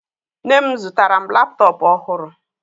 Nne m zụtara m laptọọpụ ọhụrụ